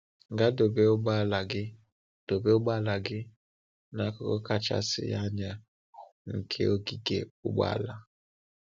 Gaa dobe ụgbọala gị dobe ụgbọala gị n’akụkụ kachasị anya nke ogige ụgbọala.